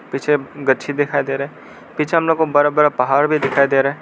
पीछे गच्छी दिखाई दे रहा है पीछे हम लोगों को बड़ा बड़ा पहाड़ भी दिखाई दे रहा है।